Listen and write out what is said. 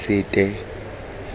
sete